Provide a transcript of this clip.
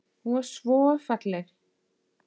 Hún var svo falleg.